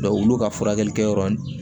olu ka furakɛli kɛ yɔrɔ